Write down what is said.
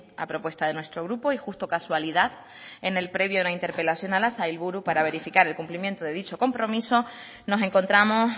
a propuesta de nuestro grupo y justo casualidad en el previo a una interpelación a la sailburu para verificar el cumplimiento de dicho compromiso nos encontramos